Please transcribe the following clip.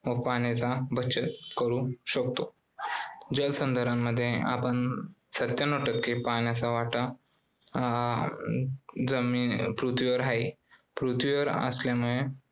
पाण्याचा बचत करू शकतो. जलसंधारण अं मध्ये आपण सत्यांनव टक्के पाण्याचा वाटा अं जमी~ पृथ्वीवर आहे. पृथ्वीवर असल्याने